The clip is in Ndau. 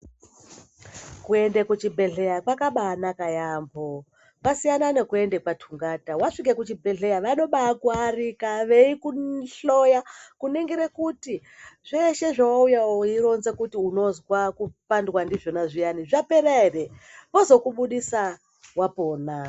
Kuende kuchibhehlera kwakabanaka yamho kwasiyana nekuende kwatungata wasvika kuchibhehlera vanobakuarika veibakuhloya kuningire kuti zvishe zvawauya weironza kuti unozwa kupandwa ndizvona zviyani zvapora ere vozokubudisa wapona.